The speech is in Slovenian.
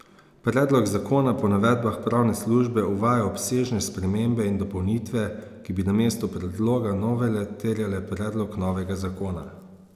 Predlog zakona po navedbah pravne službe uvaja obsežne spremembe in dopolnitve, ki bi namesto predloga novele terjale predlog novega zakona.